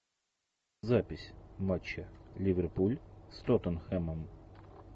запись матча ливерпуль с тоттенхэмом